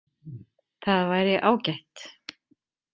Það væri ágætt.